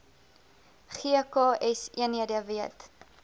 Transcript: gks eenhede weet